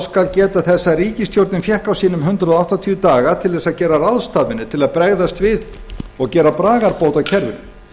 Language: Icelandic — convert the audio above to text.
skal geta þess að ríkisstjórnin fékk hundrað áttatíu daga til að gera ráðstafanir til að bregðast við og gera bragarbót á kerfinu